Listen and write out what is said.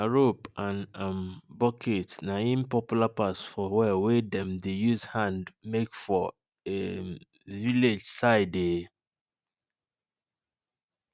nah rope and um bucket nah im popular pass for well wey dem dey use hand make for um village side um